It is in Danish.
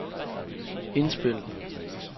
indspil